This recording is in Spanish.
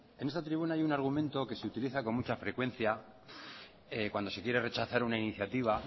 en esta tribuna hay un argumento que se utiliza con mucha frecuencia cuando se quiere rechazar una iniciativa